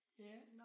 Ja